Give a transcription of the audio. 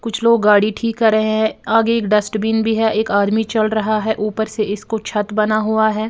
कुछ लोग गाड़ी ठीक कर रहे है आगे एक डस्टबिन भी है एक आदमी चल रहा है ऊपर से इसकू छत बना हुआ है।